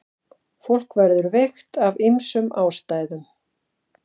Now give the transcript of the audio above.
Fólk verður veikt af ýmsum ástæðum.